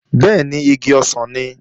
Bẹ́ẹ̀ni, igi ọsàn nìí